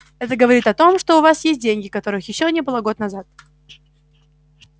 это говорит о том что у вас есть деньги которых ещё не было год назад